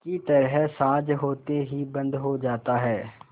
की तरह साँझ होते ही बंद हो जाता है